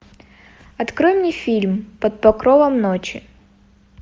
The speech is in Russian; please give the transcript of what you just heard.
открой мне фильм под покровом ночи